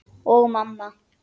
Og mamma.